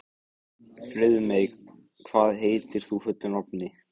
Friðmey, hvað heitir þú fullu nafni?